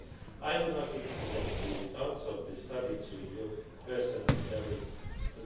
I would like to present the results of the study to you personally early in